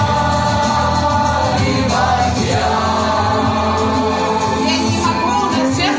вечером вечером